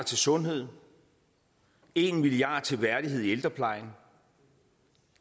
til sundhed en milliard kroner til værdighed i ældreplejen